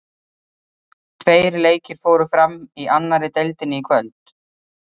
Tveir leikir fóru fram í annari deildinni í kvöld.